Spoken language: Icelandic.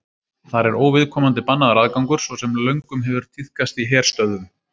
þar er óviðkomandi bannaður aðgangur svo sem löngum hefur tíðkast í herstöðvum